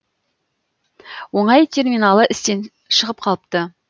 оңай терминалы істен шығып қалыпты